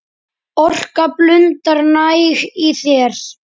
Orka blundar næg í þér.